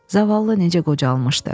Zavallı necə qocalmışdı.